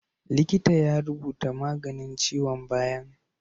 Likita ya rubuta maganin ciwon bayan